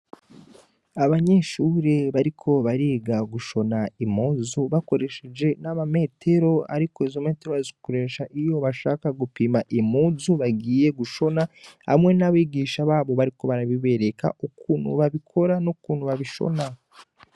Abanyeshure bariko bariga gushona impuzu bakoresheje n'ama metero, ariko izo metero bazikoresha iyo bashaka gupima impuzu bagiye gushona hamwe n'abigisha babo bariko barabibereka ukuntu babikora n'ukuntu babishona.